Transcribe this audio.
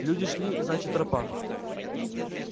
люди шли значит тропа